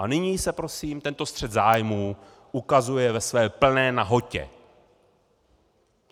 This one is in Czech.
A nyní se prosím tento střet zájmů ukazuje ve své plné nahotě.